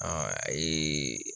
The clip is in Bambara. a ye